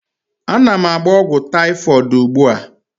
Ana m agba ogwu typhoid ugbua